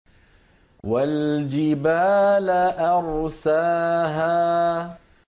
وَالْجِبَالَ أَرْسَاهَا